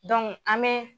an bɛ